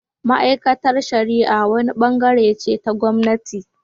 Ma’aikatar shari’a wani bangare ce ta gwamnati